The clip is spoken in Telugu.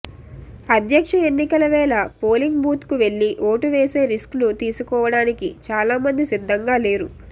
అధ్యక్ష ఎన్నికల వేళ పోలింగ్ బూత్కు వెళ్లి ఓటు వేసే రిస్క్ను తీసుకోవడానికి చాలామంది సిద్ధంగా లేరు